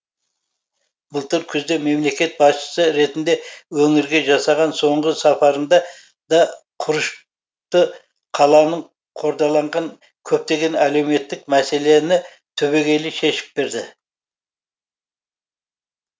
былтыр күзде мемлекет басшысы ретінде өңірге жасаған соңғы сапарында да құрышты қаланың қордаланған көптеген әлеуметтік мәселені түбегейлі шешіп берді